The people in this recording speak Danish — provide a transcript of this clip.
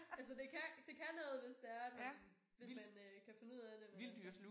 Altså det kan det kan noget hvis det er at man hvis man øh kan finde ud af det men altså